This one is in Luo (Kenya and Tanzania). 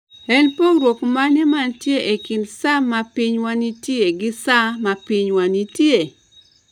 En pogruok mane mantie e kind sa ma pinywa nitie gi sa ma pinywa nitie?